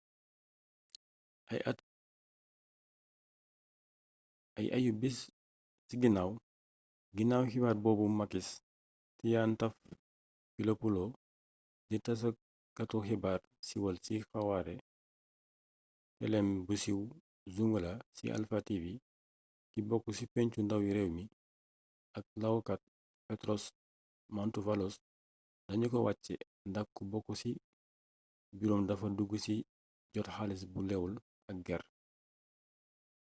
ay ayu-bis ci ginaaw ginaaw xibaar boobu makis triantafylopoulo di tasakatu xibaar siiwal ci xawaare teleeem bu siiw «zoungla » ci alpha tv ki bokk ci pencu ndawi réew mi ak laokat petros mantouvalos danu ko wàcce ndax ku bokk ci buroom dafa dug ci jot xaalis gu lewul ak ger